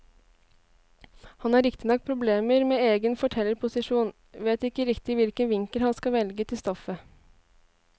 Han har riktignok problemer med egen fortellerposisjon, vet ikke riktig hvilken vinkel han skal velge til stoffet.